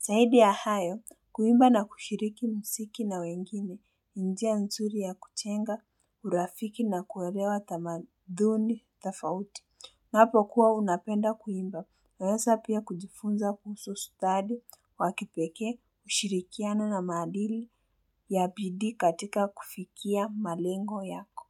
Zaidi ya hayo, kuimba na kushiriki mziki na wengine, ni njia nzuri ya kujenga, urafiki na kuelewa tamaduni tofauti. Napokuwa unapenda kuimba, waweza pia kujifunza kuhusu stadi, wa kipekee, ushirikiana na maadili ya bidii katika kufikia malengo yako.